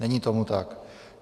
Není tomu tak.